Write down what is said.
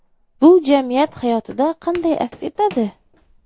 Bu jamiyat hayotida qanday aks etadi?